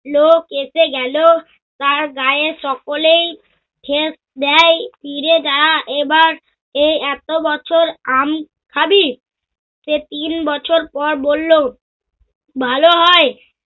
লোক এসে গেল, তার গায়ে সকলেই সেচ দেয়। ফিরে যা এবার এ এত বছর আম খাবি। সে তিন বছর পর বলল, ভালো হয়।